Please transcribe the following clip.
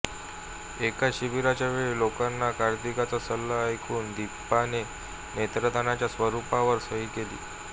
एका शिबिराच्या वेळी लोकांना कार्तिकचा सल्ला ऐकून दीपाने नेत्रदानाच्या स्वरूपावर सही केली